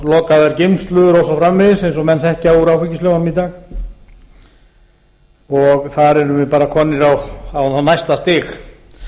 lokaðar geymslu og svo framvegis eins og menn þekkja úr áfengislögunum í dag þar erum við bara komin á það næsta stig